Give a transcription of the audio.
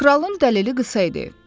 Kralın dəlili qısa idi.